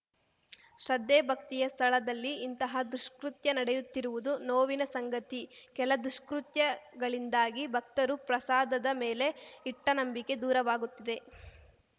ಶ್ರದ್ಧೆ ಭಕ್ತಿಯ ಸ್ಥಳದಲ್ಲಿ ಇಂತಹ ದುಷ್ಕೃತ್ಯ ನಡೆಯುತ್ತಿರುವುದು ನೋವಿನ ಸಂಗತಿ ಕೆಲ ದುಷ್ಕೃತ್ಯಗಳಿಂದಾಗಿ ಭಕ್ತರು ಪ್ರಸಾದದ ಮೇಲೆ ಇಟ್ಟನಂಬಿಕೆ ದೂರವಾಗುತ್ತಿದೆ